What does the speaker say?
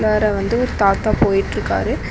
உள்ளார வந்து ஒரு தாத்தா போயிட்ருக்காரு.